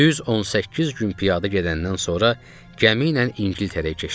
Düz 18 gün piyada gedəndən sonra gəmi ilə İngiltərəyə keçdik.